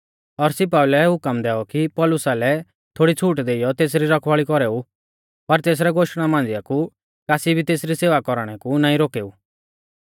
और सिपाई लै हुकम दैऔ कि पौलुसा लै थोड़ी छ़ूट देइयौ तेसरी रखवाल़ी कौरेऊ पर तेसरै गोष्टणा मांझ़िया कु कासी भी तेसरी सेवा कौरणै कु नाईं रोकेऊ